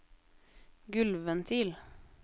gulvventil